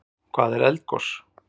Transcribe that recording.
Hvað er eldgos?